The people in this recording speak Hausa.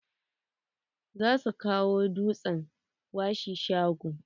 Za su kawo dutsen washi shago.